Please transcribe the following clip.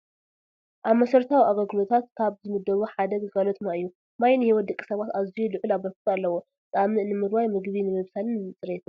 ኣብ መሰረታዊ ኣገልግሎታት ካብ ዝምደቡ ሓደ ግልጋሎት ማይ እዩ፡፡ ማይ ንሂወት ደቂ ሰባት ኣዝዩ ልዕል ኣበርክቶ ኣለዎ፡፡ ፃምእ ንምርዋይ፣ ምግቢ ንምብሳልን ንፅሬትን፡፡